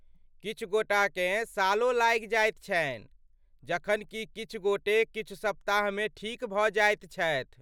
किछु गोटाकेँ सालो लागि जाइत छनि, जखन कि किछु गोटे किछु सप्ताहमे ठीक भऽ जाइत छथि।